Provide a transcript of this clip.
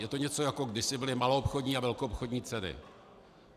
Je to něco, jako kdysi byly maloobchodní a velkoobchodní ceny.